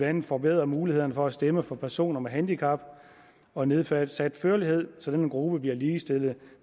andet forbedret mulighederne for at stemme for personer med handicap og nedsat førlighed så denne gruppe bliver ligestillet